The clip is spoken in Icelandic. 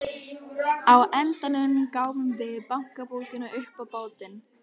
Á endanum gáfum við bankabókina upp á bátinn.